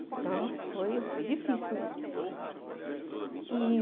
Então, foi foi difícil mesmo. E